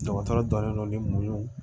Dɔgɔtɔrɔ jɔlen don ni mɔw